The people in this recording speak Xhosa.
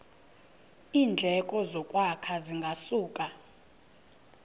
iindleko zokwakha zingasuka